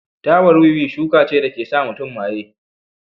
Tabar wiwi shuka ce da ke sa mutum maye.